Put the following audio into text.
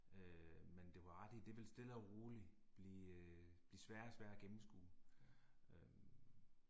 Øh men det var ret i det vil stille og roligt blive blive sværere og sværere at gennemskue øh